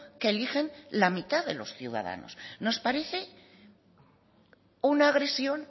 que eligen la mitad de los ciudadanos nos parece una agresión